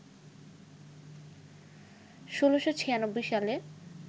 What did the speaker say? ১৬৯৬ সালে